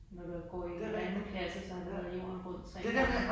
Når du er går i en anden kasse så har du været jorden rundt tre gange